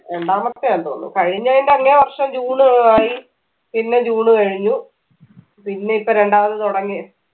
രണ്ടാമത്തെയാണ് തോന്നുന്നു കഴിഞ്ഞതിന്റെ അങ്ങേ വർഷം ജൂൺ ആയി പിന്നെ ജൂൺ കഴിഞ്ഞു പിന്നെ ഇപ്പൊ രണ്ടാമത് തുടങ്ങി